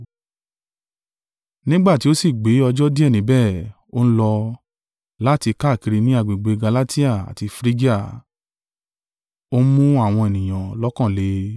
Nígbà tí ó sì gbé ọjọ́ díẹ̀ níbẹ̀, ó n lọ, láti káàkiri ni agbègbè Galatia àti Frigia, o ń mu àwọn ọmọ-ẹ̀yìn lọ́kàn le.